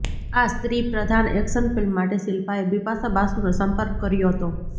આ સ્ત્રીપ્રધાન action film માટે શિલ્પાએ બિપાશા બાસુનો સંપર્ક કર્યો હતો